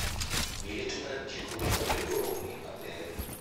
Liet mar jiko onego ong'ii maber